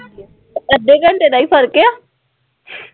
ਅੱਧੇ ਘੰਟੇ ਦਾ ਹੀ ਫਰਕ ਹੈ